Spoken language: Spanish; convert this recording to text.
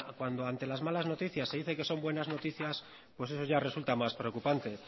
cuando ante las malas noticias se dicen que son buenas noticias pues eso ya resulta más preocupante